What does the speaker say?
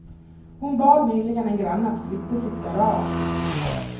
Hon bad nyligen en granne att flytta sitt garage.